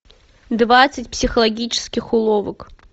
двадцать психологических уловок